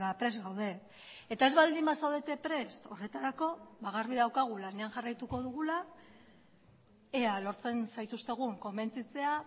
prest gaude eta ez baldin bazaudete prest horretarako garbi daukagu lanean jarraituko dugula ea lortzen zaituztegun konbentzitzea